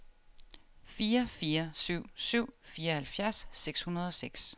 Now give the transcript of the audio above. fire fire syv syv fireoghalvfjerds seks hundrede og seks